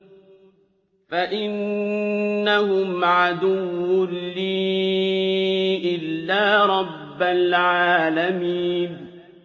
فَإِنَّهُمْ عَدُوٌّ لِّي إِلَّا رَبَّ الْعَالَمِينَ